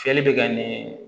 Fiyɛli bɛ kɛ ni